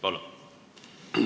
Palun!